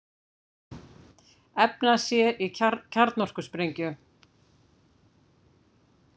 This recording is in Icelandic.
Efna sér í kjarnorkusprengju